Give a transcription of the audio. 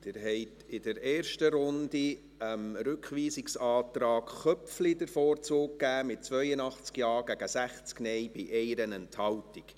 Sie haben in der ersten Runde dem Rückweisungsantrag Köpfli den Vorzug gegeben, mit 82 Ja- gegen 60 Nein-Stimmen bei 1 Enthaltung.